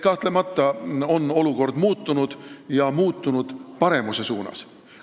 Kahtlemata on olukord muutunud ja muutunud paremuse suunas.